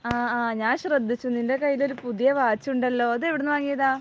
ആ ഞാൻ ശ്രദ്ധിച്ചു. നിന്റെ കയ്യിൽ ഒരു പുതിയ വാച്ച് ഉണ്ടല്ലോ. അത് എവിടെ നിന്ന് വാങ്ങിയതാ?